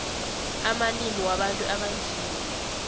amalimi wabantu abanzima